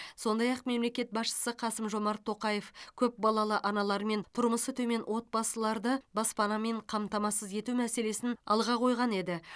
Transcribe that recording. сондай ақ мемлекет басшысы қасым жомарт тоқаев көпбалалы аналар мен тұрмысы төмен отбасыларды баспанамен қамтамасыз ету мәселесін алға қойған еді